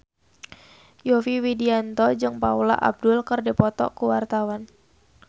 Yovie Widianto jeung Paula Abdul keur dipoto ku wartawan